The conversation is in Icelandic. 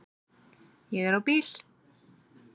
Ég er á bíl